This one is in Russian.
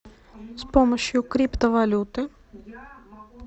с помощью криптовалюты